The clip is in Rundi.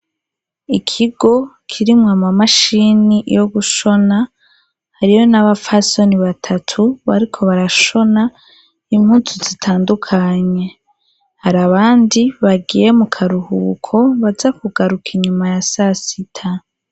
Ikigo kirimwo amamashini yo gushona hariyo n'abafasoni batatu bariko barashona impunzu zitandukanye hari abandi bagiye mu karuhuko baza kugaruka inyuma ya sasita.